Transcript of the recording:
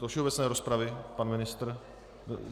Do všeobecné rozpravy pan ministr?